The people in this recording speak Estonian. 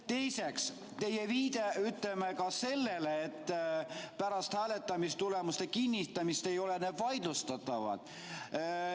Teiseks, teie viide sellele, et pärast hääletamistulemuste kinnitamist ei ole need vaidlustatavad.